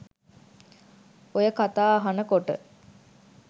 ඔය කතා අහන කොට